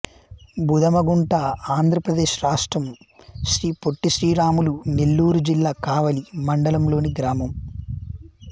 బుదమగుంట ఆంధ్ర ప్రదేశ్ రాష్ట్రం శ్రీ పొట్టి శ్రీరాములు నెల్లూరు జిల్లా కావలి మండలం లోని గ్రామం